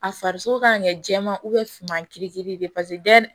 A farisogo ka kɛ jɛman suman kiri de ye